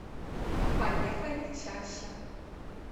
поехали чаща